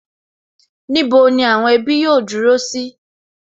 Níbo ni àwọn ẹbí yóò dúró sí?